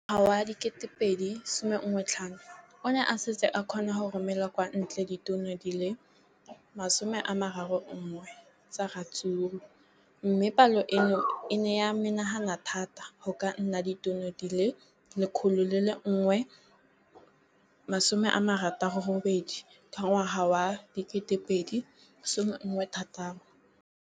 Ka ngwaga wa 2015, o ne a setse a kgona go romela kwa ntle ditone di le 31 tsa ratsuru mme palo eno e ne ya menagana thata go ka nna ditone di le 168 ka ngwaga wa 2016.